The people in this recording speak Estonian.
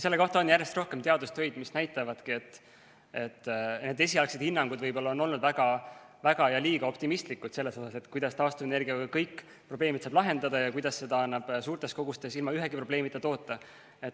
Selle kohta on järjest rohkem teadustöid, mis näitavadki, et esialgsed hinnangud on võib-olla olnud liiga optimistlikud selles mõttes, kuidas taastuvenergiaga saab kõik probleemid lahendada ja kuidas seda annab suurtes kogustes ilma ühegi probleemita toota.